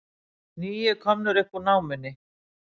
Níu komnir upp úr námunni